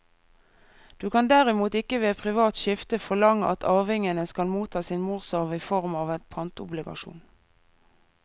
Du kan derimot ikke ved privat skifte forlange at arvingene skal motta sin morsarv i form av en pantobligasjon.